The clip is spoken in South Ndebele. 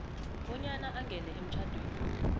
bonyana angene emtjhadweni